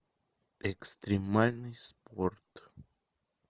экстремальный спорт